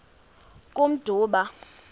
kummdumba